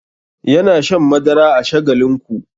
Yana shan madara a shagalinku.